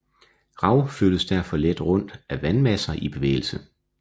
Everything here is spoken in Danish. Rav flyttes derfor let rundt af vandmasser i bevægelse